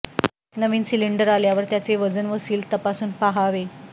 नवीन cylinder आल्यावर त्याचे वजन व सील तपासून पाहावे